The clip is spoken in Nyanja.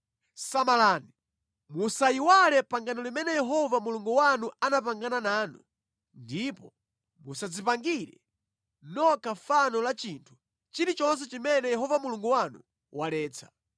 Samalani, musayiwale pangano limene Yehova Mulungu wanu anapangana nanu ndipo musadzipangire nokha fano la chinthu chilichonse chimene Yehova Mulungu wanu waletsa.